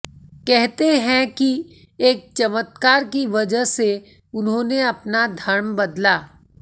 कहते है की एक चमत्कार की वजह से उन्होंने अपना धर्म बदला